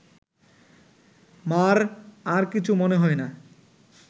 মা’র আর কিছু মনে হয় না